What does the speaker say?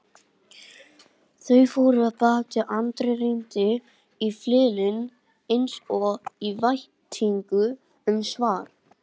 Þau fóru af baki og Andri rýndi í innyflin eins og í væntingu um svar.